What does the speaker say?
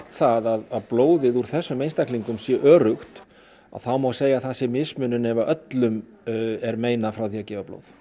það að blóðið úr þessum einstaklingum sé öruggt að þá má segja að það sé mismunun ef að öllum er meinað frá því að gefa blóð